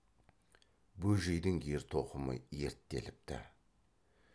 бөжейдің ер тоқымы ерттеліпті